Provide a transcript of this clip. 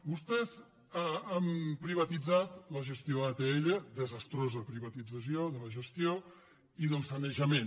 vostès han privatitzat la gestió a atll desastrosa privatització de la gestió i del sanejament